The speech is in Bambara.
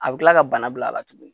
A bi kila ka bana bila a la tuguni